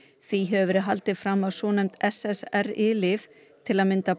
því hefur verið haldið fram að svonefnd SSRI lyf til að mynda